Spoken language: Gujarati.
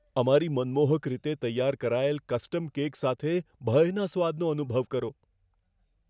અમારી મનમોહક રીતે તૈયાર કરાયેલ કસ્ટમ કેક સાથે ભયના સ્વાદનો અનુભવ કરો.